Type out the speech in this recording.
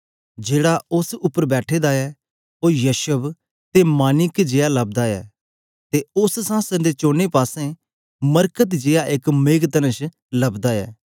जेहड़ा उस्स उपर बैठा ऐ ओ यशब ते माणिक्य जेया लबदा ऐ ते उस्स संहासन दे चोने पासें मरकत जेया एक मेघतनष लबदा ऐ